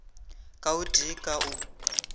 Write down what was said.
ka o tee ka o